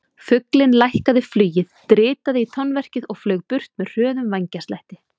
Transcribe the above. Fuglinn lækkaði flugið, dritaði í tóverkið og flaug burt með hröðum vængjaslætti.